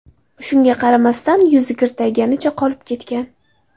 Shunga qaramasdan, yuzi kirtayganicha qolib ketgan.